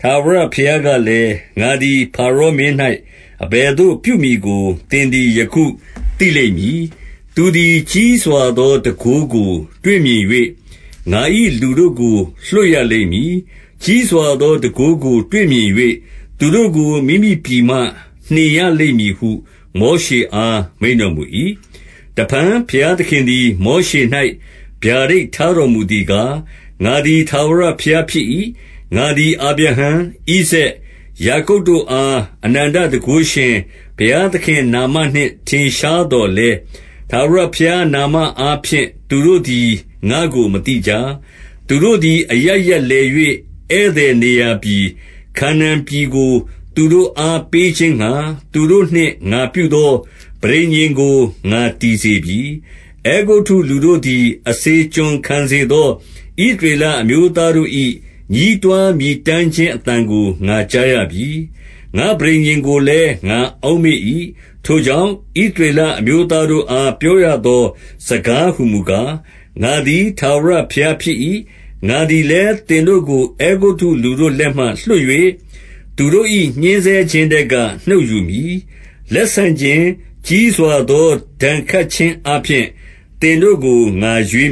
ထာဝရဘုရားကလည်း၊ ငါသည် ဖါရောမင်း၌ အဘယ်သို့ပြုမည်ကို သင်သည် ယခုသိလိမ့်မည်။ သူသည် ကြီးစွာသောတန်ခိုးကို တွေ့မြင်၍၊ ငါ၏လူတို့ကို လွှတ်ရလိမ့်မည်။ ကြီးစွာသော တန်ခိုးကို တွေ့မြင်၍ သူတို့ကို မိမိပြည်မှနှင်ရလိမ့်မည်ဟု မောရှေအား မိန့်တော်မူ၏။ တဖန်ဘုရားသခင်သည် မောရှေ၌ ဗျာဒိတ်ထားတော်မူသည်ကား၊ ငါသည် ထာဝရဘုရားဖြစ်၏။ ငါသည် အာဗြဟံ၊ ဣဇာက်၊ ယာကုပ်တို့အား၊ အနန္တတန်ခိုးရှင်၊ ဘုရားသခင်နာမနှင့် ထင်ရှားသော် လည်း၊ ထာဝရဘုရားနာမအားဖြင့် သူတို့သည် ငါ့ကို မသိကြ။ သူတို့သည် အရပ်ရပ်လည်၍၊ ဧည့်သည်နေရာပြည်၊ ခါနာန်ပြည်ကို သူတို့အား ပေးခြင်းငှါ၊ သူတို့နှင့်ငါပြုသောပဋိညာဉ်ကို ငါတည်စေပြီ။ အဲဂုတ္တုလူတို့သည် အစေကျွန်ခံစေသော ဣသ ရေလအမျိုးသားတို့၏ ညဉ်းတွားမြည်တမ်းခြင်းအသံကို ငါကြားရပြီ။ ငါပဋိညာဉ်ကိုလည်း ငါအောက်မေ့၏။ ထိုကြောင့် ဣသရေလအမျိုးသားတို့အား ပြောရသောစကားဟူမူကား၊ ငါသည် ထာဝရဘုရား ဖြစ်၏။ ငါသည်လည်း သင်တို့ကို အဲဂုတ္တုလူတို့လက်မှ လွှတ်၍၊ သူတို့၏ ညှဉ်းဆဲခြင်းထဲက နှုတ်ယူမည်။ လက်ဆန့်ခြင်း၊ ကြီးစွာသော ဒဏ်ခတ်ခြင်းအားဖြင့် သင်တို့ကို ငါရွေး